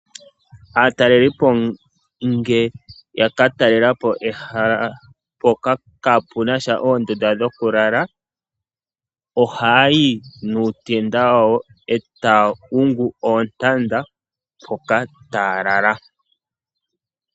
Aatalelipo ngele yaka talelapo ehala mpoka kaapunasha oondunda dhokulala oha ya yi nootenda dhawo e taya hungu oontanda mpoka taya lala.